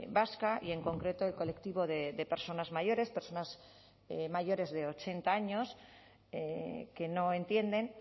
vasca y en concreto el colectivo de personas mayores personas mayores de ochenta años que no entienden